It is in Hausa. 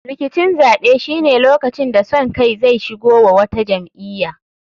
Rikicin zaɓe shine lokacin da son kai zai shigo wa wata jam'iya.